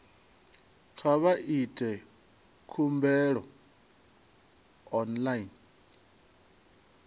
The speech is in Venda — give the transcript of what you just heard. kha vha ite khumbelo online